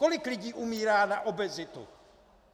Kolik lidí umírá na obezitu?